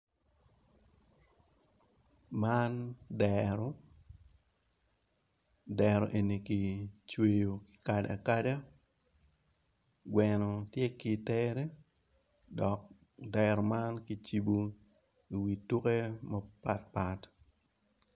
Man dero dero eni kicweyo tado atada gwno tye ki tere dok dero man kicibo i wi tuke mapat pat.